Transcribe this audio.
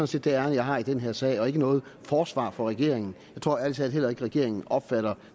set det ærinde jeg har i den her sag og ikke noget forsvar for regeringen jeg tror ærlig talt heller ikke at regeringen opfatter